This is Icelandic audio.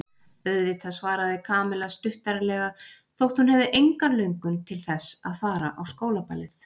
Auðvitað svaraði Kamilla stuttaralega þótt hún hefði enga löngun til þess að fara á skólaballið.